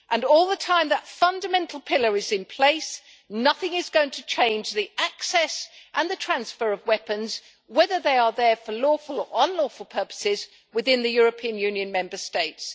All the time that fundamental pillar is in place, nothing is going to change the access and transfer of weapons whether they are there for lawful or unlawful purposes within the European Union Member States.